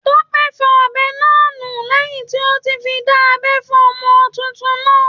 Tọ́pẹ́ fọ ọ̀bẹ náà nù lẹ́hìn tí ó ti fi dá abẹ́ fún ọmọ titun náà.